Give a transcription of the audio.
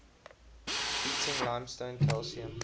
heating limestone calcium